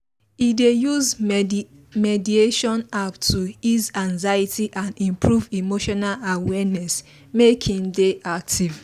he dey use mediation app to ease anxiety and improve emotional awareness make himself dey active